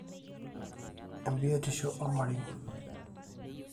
embiotishu ormarei